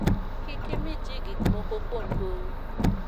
kik imi ji gik moko kuom gowi